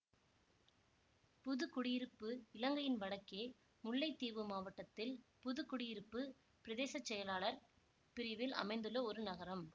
புது குடியிருப்பு இலங்கையின் வடக்கே முல்லைத்தீவு மாவட்டத்தில் புது குடியிருப்பு பிரதேச செயலாளர் பிரிவில் அமைந்துள்ள ஒரு நகரம்